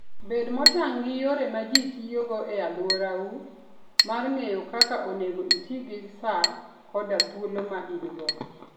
Bed motang' gi yore ma ji tiyogo e alworau mar ng'eyo kaka onego iti gi sa koda thuolo ma in-go.